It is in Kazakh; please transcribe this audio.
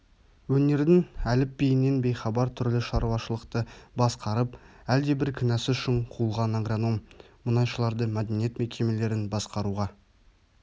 өнердің әліпбиінен бейхабар түрлі шаруашылықты басқарып әлдебір кінәсі үшін қуылған агроном мұнайшыларды мәдениет мекемелерін басқаруға